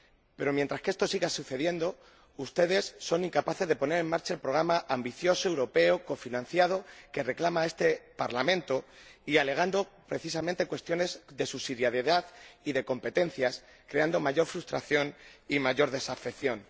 Pero, mientras esto sigue sucediendo, ustedes son incapaces de poner en marcha el programa ambicioso, europeo y cofinanciado que reclama este Parlamento y alegando, precisamente, cuestiones de subsidiariedad y de competencias, creando mayor frustración y mayor desafección.